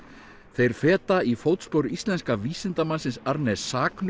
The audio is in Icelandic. þeir feta í fótspor íslenska vísindamannsins Arne